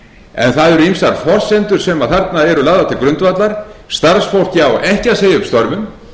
en það eru ýmsar forsendur sem þarna eru lagðar til grundvallar starfsfólkið á ekki að segja upp störfum